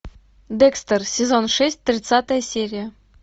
декстер сезон шесть тридцатая серия